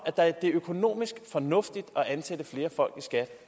at det er økonomisk fornuftigt at ansætte flere folk i skat